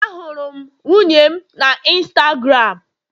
Ahụrụ m nwunye m na Instagram